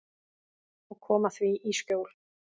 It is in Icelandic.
Og koma því í skjól.